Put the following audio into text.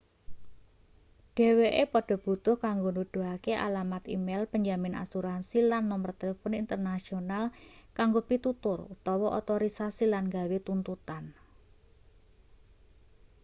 dheweke padha butuh kanggo nuduhake alamat e-mail penjamin asuransi lan nomer telpon internasional kanggo pitutur/otorisasi lan gawe tuntutan